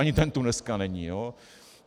Ani ten tu dneska není.